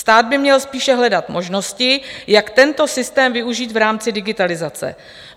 Stát by měl spíše hledat možnosti, jak tento systém využít v rámci digitalizace.